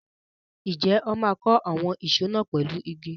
Ǹjẹ́ wọn máa kọ́ àwọn ìsọ̀ náà pẹ̀lú igi?